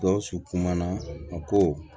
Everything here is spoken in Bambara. Gawusu kumana a ko